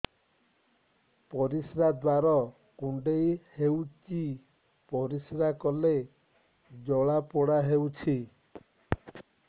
ପରିଶ୍ରା ଦ୍ୱାର କୁଣ୍ଡେଇ ହେଉଚି ପରିଶ୍ରା କଲେ ଜଳାପୋଡା ହେଉଛି